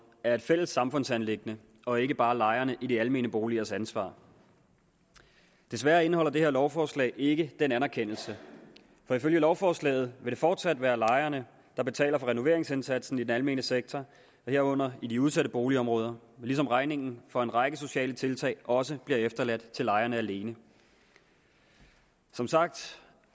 er et fælles samfundsanliggende og ikke bare lejerne i de almene boligers ansvar desværre indeholder det her lovforslag ikke den anerkendelse for ifølge lovforslaget vil det fortsat være lejerne der betaler for renoveringsindsatsen i den almene sektor herunder i de udsatte boligområder ligesom regningen for en række sociale tiltag også bliver efterladt til lejerne alene som sagt